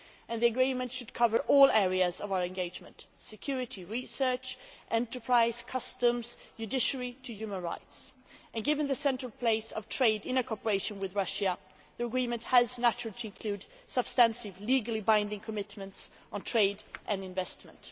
The agreement should cover all areas of our engagement security, research, enterprises, customs, judiciary and human rights and given the central place of trade in cooperation with Russia, the agreement has naturally to include substantial legally binding commitments on trade and investment.